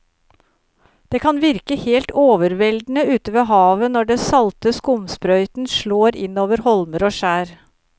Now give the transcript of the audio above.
Det kan virke helt overveldende ute ved havet når den salte skumsprøyten slår innover holmer og skjær.